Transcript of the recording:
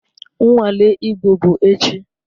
Nnwale Igbo bụ echi